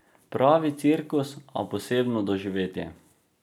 Pravi cirkus, a posebno doživetje.